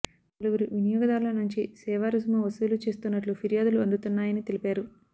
పలువురు వినియోగదారుల నుంచి సేవా రుసుము వసూలు చేస్తున్నట్లు ఫిర్యాదులు అందుతున్నాయని తెలిపారు